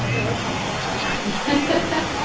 Também hoje está muito avacalhado.